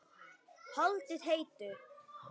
Haldið heitu.